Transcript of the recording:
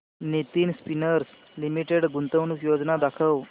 Nitin spinners limited गुंतवणूक योजना दाखव